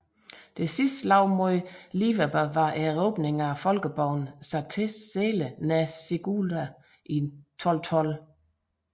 Det sidste slag mod liverbe var erobringen af folkeborgen Satezele nær Sigulda i 1212